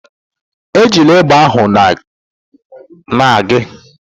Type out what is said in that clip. Ejila egbe ahụ na gị!